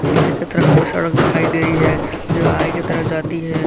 नीचे की तरफ हमें सड़क दिखाई दे रही है जो आगे की तरफ जाती है।